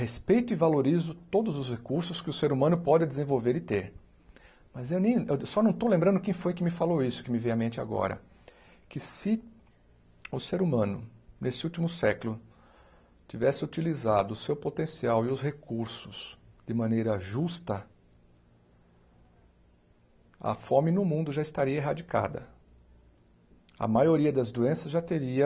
respeito e valorizo todos os recursos que o ser humano pode desenvolver e ter mas eu nem só não estou lembrando quem foi que me falou isso, que me veio à mente agora que se o ser humano nesse último século tivesse utilizado o seu potencial e os recursos de maneira justa a fome no mundo já estaria erradicada a maioria das doenças já teria